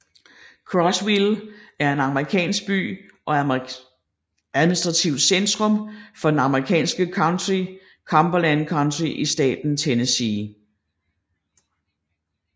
Crossville er en amerikansk by og administrativt centrum for det amerikanske county Cumberland County i staten Tennessee